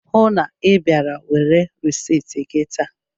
Hụụ na Ị bịara were risit gị taa!